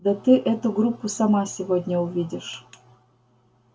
да ты эту группу сама сегодня увидишь